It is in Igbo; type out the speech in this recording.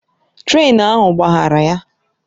Trén ahụ gbaghara ya